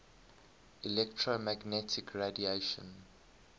electromagnetic radiation